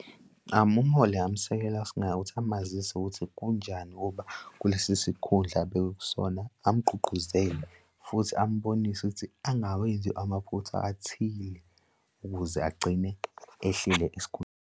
uUmholi ngingamsekela singaya ukuthi amazise ukuthi kunjani ukuba kulesi sikhundla abekwe kusona amgqugquzele futhi ambonise ukuthi angawenzi amaphutha athile ukuze agcine ehleli .